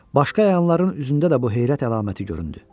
Başqa əyanların üzündə də bu heyrət əlaməti göründü.